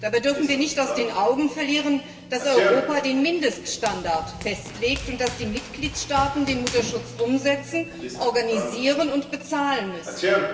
Dabei dürfen wir nicht aus den Augen verlieren, dass die EU den Mindeststandard festlegt und die Mitgliedstaaten den Mutterschutz umsetzen, organisieren und bezahlen müssen.